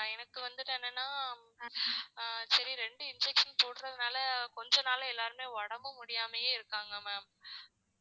எனக்கு வந்து என்னனா ஆஹ் சரி ரெண்டு injection போடுறதுனால கொஞ்ச நாளா எல்லாருமே உடம்பு முடியாமயே இருக்காங்க ma'am